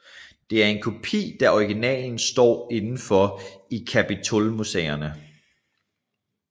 Det er en kopi da originalen står indenfor i Kapitolmuseerne